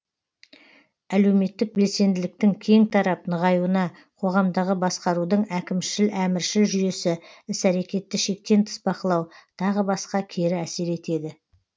әлеуметтік белсенділіктің кең тарап нығаюына қоғамдағы басқарудың әкімшіл әміршіл жүйесі іс әрекетті шектен тыс бақылау тағы басқа кері әсер етеді